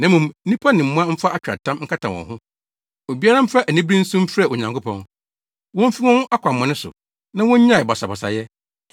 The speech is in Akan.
Na mmom nnipa ne mmoa mfa atweaatam nkata wɔn ho. Obiara mfa anibere nsu mfrɛ Onyankopɔn. Womfi wɔn akwammɔne so, na wonnyae basabasayɛ.